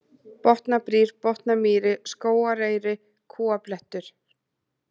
Botnabrýr, Botnamýri, Skógareyri, Kúablettur